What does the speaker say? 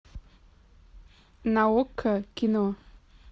на окко кино